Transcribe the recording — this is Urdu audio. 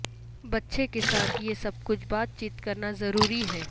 بچے کے ساتھ یہ سب کچھ بات چیت کرنا ضروری ہے